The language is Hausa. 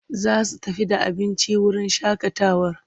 Za su tafi da abinci wurin shaƙatawar.